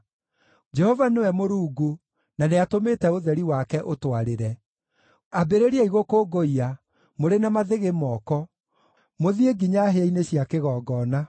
Jehova nĩwe Mũrungu, na nĩatũmĩte ũtheri wake ũtwarĩre. Ambĩrĩriai gũkũngũiya, mũrĩ na mathĩgĩ moko, mũthiĩ nginya hĩa-inĩ cia kĩgongona.